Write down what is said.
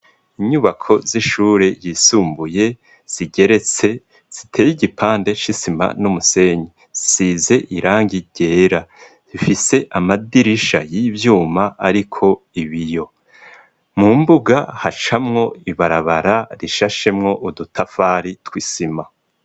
Inyubako z'ishure ryisumbuye zigeretse, ziteye igipande c'isima n'umusenyi. Zisize irangi ryera. Zifise amadirisha y'ivyuma ariko ibiyo. Mu mbuga hacamwo ibarabara rishashemwo udutafari tw'isima.